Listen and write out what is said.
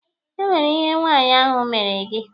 E nwere ihe nwaanyị ahụ mere gị?